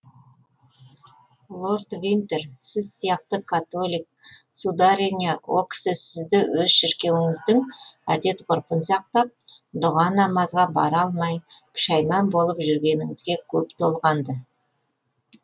лорд винтер сіз сияқты католик сударыня о кісі сізді өз шіркеуіңіздің әдет ғұрпын сақтап дұға намазға бара алмай пүшәйман болып жүргеніңізге көп толғанды